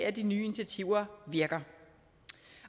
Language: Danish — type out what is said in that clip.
at de nye initiativer virker